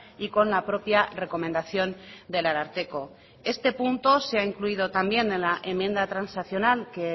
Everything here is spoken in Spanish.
y con la propia recomendación del ararteko este punto se ha incluido también en la enmienda transaccional que